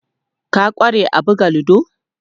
Ka ƙware a buga ludo?